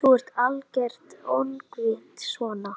Þú ert algert öngvit svona!